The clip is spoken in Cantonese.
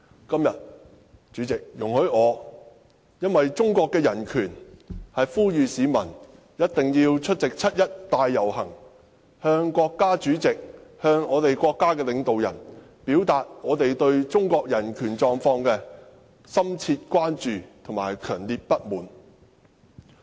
今天，為了中國的人權狀況，我呼籲市民一定要出席七一大遊行，向國家主席及國家領導人表達我們對中國人權狀況的深切關注和強烈不滿。